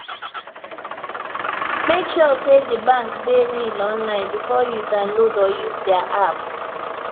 make sure say the bank dey real online before you download or use their app